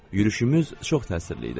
Yürüşümüz çox təsirli idi.